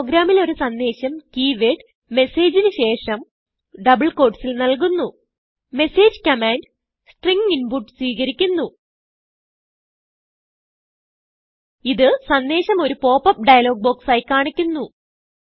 പ്രോഗ്രാമിൽ ഒരു സന്ദേശം കീ വേർഡ് മെസ്സേജിന് ശേഷം ഡബിൾ quotesൽ നല്കുന്നു മെസ്സേജ് കമാൻഡ് സ്ട്രിംഗ് ഇൻപുട്ട് സ്വീകരിക്കുന്നു ഇത് സന്ദേശം ഒരു pop അപ്പ് ഡയലോഗ് ബോക്സ് ആയി കാണിക്കുന്നു